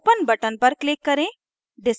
open button पर click करें